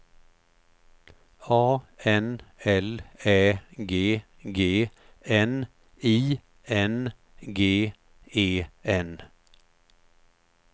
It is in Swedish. A N L Ä G G N I N G E N